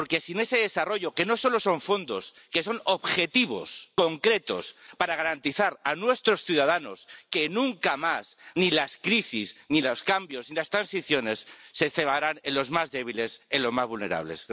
Porque ese desarrollo no solo son fondos son objetivos concretos para garantizar a nuestros ciudadanos que nunca más ni las crisis, ni los cambios, ni las transiciones se cebarán en los más débiles, en los más vulnerables.